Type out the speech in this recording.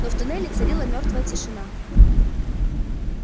но в тоннеле царила мёртвая тишина